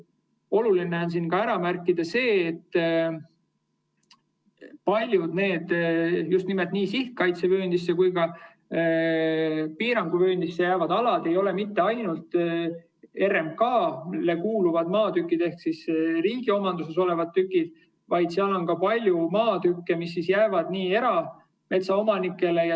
Oluline on ära märkida see, et paljud nii sihtkaitsevööndisse kui ka piiranguvööndisse jäävad alad ei ole mitte ainult RMK‑le kuuluvad maatükid ehk riigi omanduses olevad tükid, vaid seal on ka palju maatükke, mis kuuluvad erametsaomanikele.